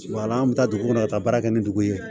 an bɛ taa dugu kɔnɔ ka taa baara kɛ ni dugu ye